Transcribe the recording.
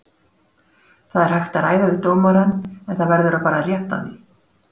Það er hægt að ræða við dómarann en það verður að fara rétt að því.